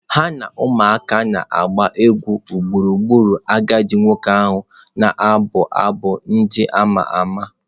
Ha na ụmụaka na-agba egwu gburugburu agadi nwoke ka ọ na-abụ abụ ndị a ma ama.